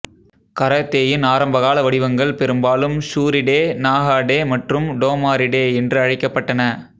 கராத்தேயின் ஆரம்பகால வடிவங்கள் பெரும்பாலும் ஷூரிடெ நாஹாடெ மற்றும் டோமாரிடெ என்று அழைக்கப்பட்டன